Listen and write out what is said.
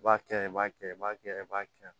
I b'a kɛ i b'a kɛ i b'a kɛ i b'a kɛ